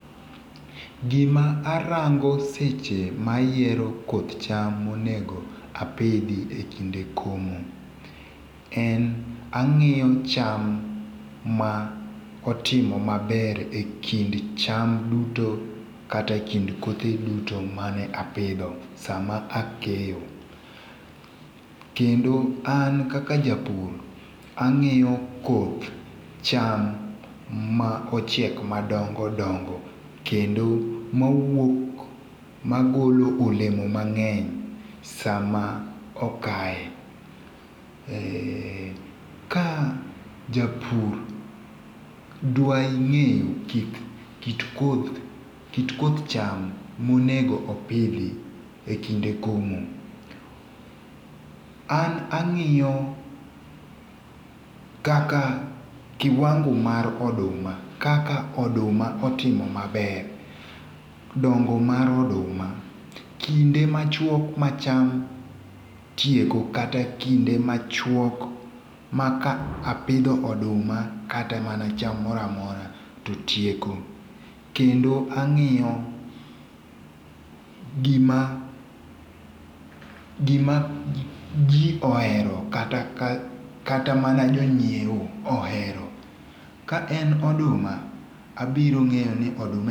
Gima arango seche ma ayiero koth cham monego apidhi ekinde komo, en ang'iyo cham ma otimo maber ekind cham duto, kata ekind kothe duto mane apidho sama akeyo. Kendo an kaka japur, ang'iyo koth cham ma ochiek madongo dongo, kendo mawuok magolo olemo mang'eny sama okaye. Eeh ka japur dwa ng'e kit koth cham monego opidhi ekinde komo. An ang'iyo kaka, kiwango mar oduma, kaka oduma otimo maber, dongo mar oduma, kinde machuok ma cham tieko, kata kinde machuok maka apidho oduma, kata mana cham moro amora totieko. Kendo ang'iyo gima gima ji ohero kata ka kata mana jonyiewo ohero. Ka en oduma abiro ng'eyo ni oduma en..